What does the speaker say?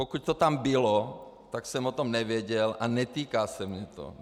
Pokud to tam bylo, tak jsem o tom nevěděl a netýká se mě to.